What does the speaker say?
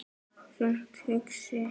Þungt hugsi?